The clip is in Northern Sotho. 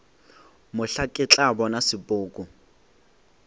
mohla ke tla bona sepoko